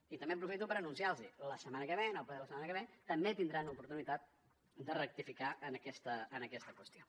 i també aprofito per anunciar los ho la setmana que ve en el ple de la setmana que ve també tindran l’oportunitat de rectificar en aquesta qüestió